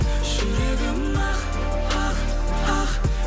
жүрегім ақ ақ ақ